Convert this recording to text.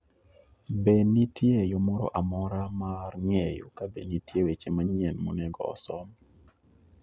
Be nitie yo moro amora mar ng'eyo kabe nitie weche manyien monego osom?